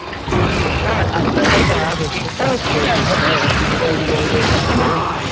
Christian culture আছে সেটা না,